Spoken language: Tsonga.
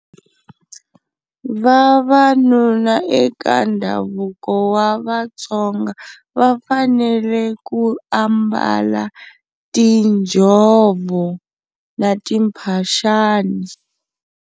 Vavanuna eka ndhavuko wa vaTsonga va fanele ku ambala tinjhovo na timphaxani.